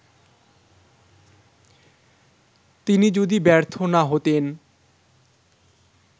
তিনি যদি ব্যর্থ না হতেন